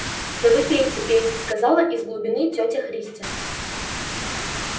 да вы пейте пейте сказала из глубины тётя христя